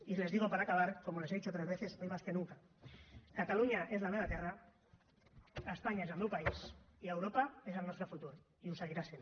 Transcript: y les digo para acabar como les he dicho otras veces hoy más que nunca catalunya és la meva terra espanya és el meu país i europa és el nostre futur i ho seguirà sent